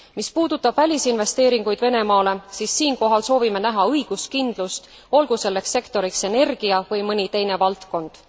Mis puudutab välisinvesteeringuid Venemaale, siis siinkohal soovime näha õiguskindlust, olgu selleks sektoriks energia või mõni teine valdkond.